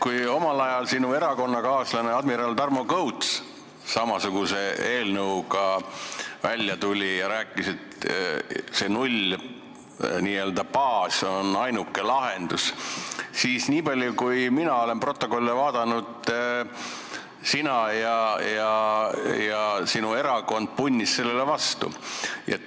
Kui omal ajal sinu erakonnakaaslane admiral Tarmo Kõuts samasuguse eelnõuga välja tuli ja rääkis, et see n-ö nullbaas on ainuke lahendus, siis mina olen protokolle vaadates nii aru saanud, et sina ja sinu erakond punnisite sellele vastu.